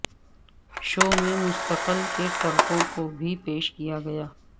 شو میں مستقل کے ٹرکوں کو بھی پیش کیا گیا